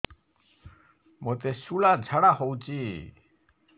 ମୋତେ ଶୂଳା ଝାଡ଼ା ହଉଚି